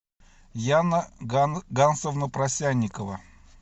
яна гансовна просянникова